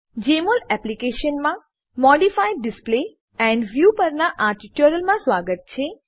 જેમોલ એપ્લીકેશનમાં modify display and view પરનાં આ ટ્યુટોરીયલમાં સ્વાગત છે